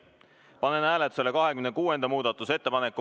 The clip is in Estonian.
Panen hääletusele 26. muudatusettepaneku.